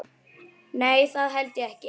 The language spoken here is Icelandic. Nei, það held ég ekki.